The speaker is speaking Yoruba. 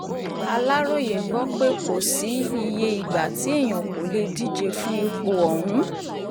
aláròye gbọ́ pé kò sí iye ìgbà tí èèyàn kò lè díje fún ipò ọ̀hún